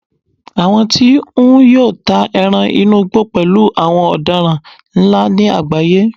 àwọn tí n yọ́ ta eran inú igbó pẹlú àwọn odaran nla ni agbaye